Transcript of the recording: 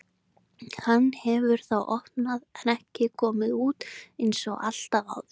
Hann hefur þá opnað en ekki komið út einsog alltaf áður.